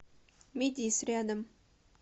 медис рядом